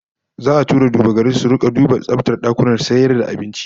Za'a fara tura duba-gari su rika dina tsaftar dakunan abinci